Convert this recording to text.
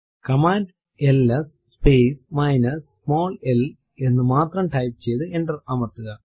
command L S space minus small l L എന്ന് മാത്രം type ചെയ്തു എന്റർ അമർത്തുക